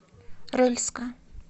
рыльска